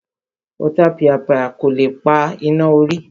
Ọ̀tapìàpìà kọ́ ló pa iná orí